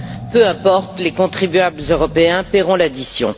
peu importe, les contribuables européens paieront l'addition.